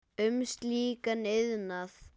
um slíkan iðnað.